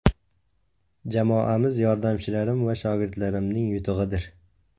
Jamoamiz, yordamchilarim va shogirdlarimning yutug‘idir.